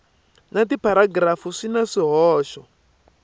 na tipharagirafu swi na swihoxo